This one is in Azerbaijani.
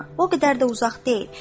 O qədər də uzaq deyil.